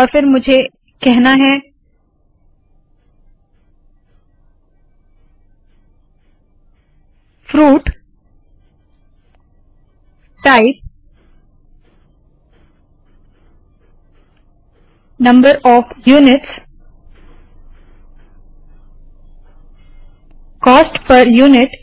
और फिर मुझे कहना है160 fruit type number of units cost पर यूनिट